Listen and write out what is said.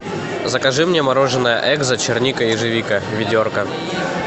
закажи мне мороженое экзо черника ежевика ведерко